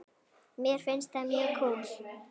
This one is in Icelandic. Mér finnst það mjög kúl.